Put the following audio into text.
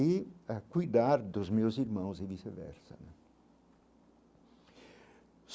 e a cuidar dos meus irmãos e vice-versa.